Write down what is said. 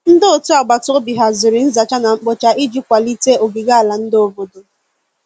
Ndi ọtụ agbatobi hazịrị nza cha na nkpo cha iji kwalite ogige ala ndi obodo